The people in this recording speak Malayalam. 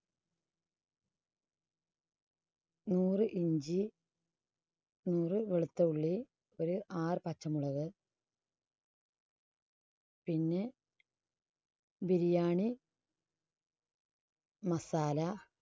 നൂറ് ഇഞ്ചി, നൂറ് വെളുത്ത ഉള്ളി, ഒരു ആറ് പച്ചമുളക് പിന്നെ biriyani masala